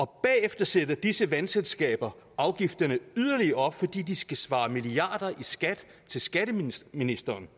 bagefter sætter disse vandselskaber afgifterne yderligere op fordi de skal svare milliarder i skat til skatteministeren